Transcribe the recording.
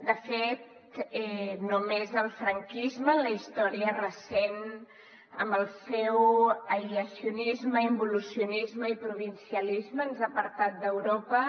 de fet només el franquisme en la història recent amb el seu aïllacionisme involucionisme i provincianisme ens ha apartat d’europa